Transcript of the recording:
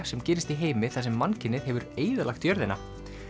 sem gerist í heimi þar sem mannkynið hefur eyðilagt jörðina